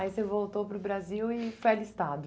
Aí você voltou para o Brasil e foi alistado.